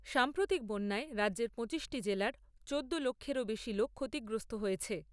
সাম্প্রতিক বন্যায় রাজ্যের পঁচিশ টি জেলার চোদ্দ লক্ষেরও বেশি লোক ক্ষতিগ্রস্থ হয়েছে।